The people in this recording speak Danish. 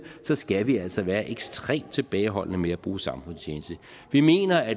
skal vi altså være ekstremt tilbageholdende med at bruge samfundstjeneste vi mener at